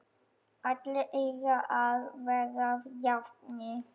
Allir eiga að vera jafnir.